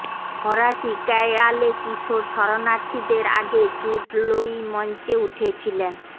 ফরাসি ক্যায়য়ালে কিশোর শরণার্থীদের আগে জুড লোই মঞ্চে উঠেছিলেন